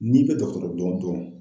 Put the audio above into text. N'i bɛ dɔgɔtɔrɔ dɔn dɔn